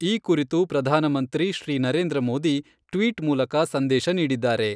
ಈ ಕುರಿತು ಪ್ರಧಾನಮಂತ್ರಿ ಶ್ರೀ ನರೇಂದ್ರ ಮೋದಿ ಟ್ವೀಟ್ ಮೂಲಕ ಸಂದೇಶ ನೀಡಿದ್ದಾರೆ.